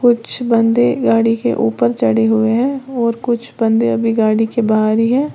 कुछ बंदे गाड़ी के ऊपर चढ़े हुए हैं और कुछ बंदे अभी गाड़ी के बाहर ही है।